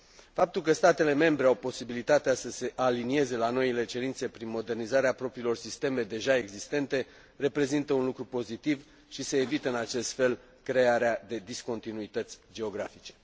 Faptul că statele membre au posibilitatea să se alinieze la noile cerințe prin modernizarea propriilor sisteme deja existente reprezintă un lucru pozitiv și se evită în acest fel crearea de discontinuități geografice.